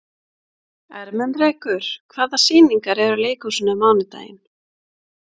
Ermenrekur, hvaða sýningar eru í leikhúsinu á mánudaginn?